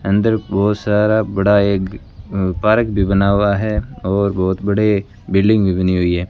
अंदर बहुत सारा बड़ा एक पारक भी बना हुआ है और बहुत बड़े बिल्डिंग भी बनी हुई है।